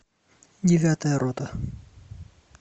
девятая рота